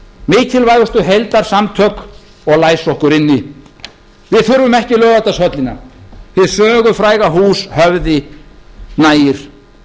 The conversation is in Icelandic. mikilvægustu heildarsamtök og læsa okkur inni við þurfum ekki laugardalshöllina hið sögufræga hús höfði nægir